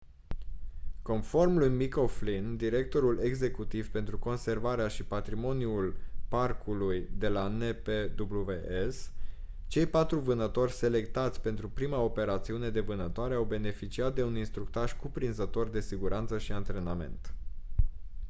conform lui mick o'flynn directorul executiv pentru conservarea și patrimoniul parcului de la npws cei patru vânători selectați pentru prima operațiune de vânătoare au beneficiat de un instructaj cuprinzător de siguranță și antrenament